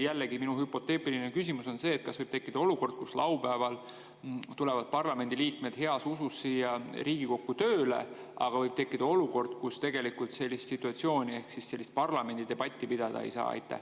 Jällegi on mul hüpoteetiline küsimus: kas võib tekkida olukord, kus laupäeval tulevad parlamendiliikmed heas usus siia Riigikokku tööle, aga tegelikult parlamendidebatti pidada ei saa?